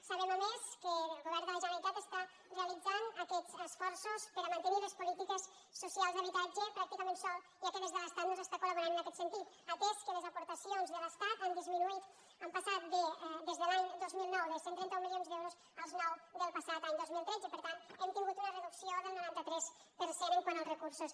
sabem a més que el govern de la generalitat està realitzant aquests esforços per a mantenir les polítiques d’habitatge pràcticament sol ja que des de l’estat no s’està col·laborant en aquest sentit atès que les aportacions de l’estat han disminuït han passat des de l’any dos mil nou de cent i trenta un milions d’euros als nou del passat any dos mil tretze per tant hem tingut una reducció del noranta tres per cent quant als recursos